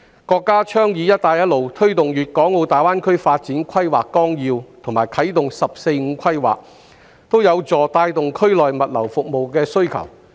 國家倡議"一帶一路"、推動粵港澳大灣區發展規劃綱要和啟動"十四五"規劃，均有助帶動區內物流服務的需求。